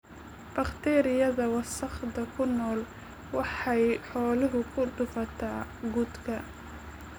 Bakteeriyada wasakhda ku nool waxay xoolaha ku dhufataa quudka.